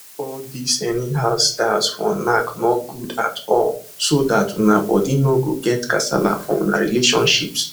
all this any how styles for knack nor good at all so that una body nor get kasala for una relationships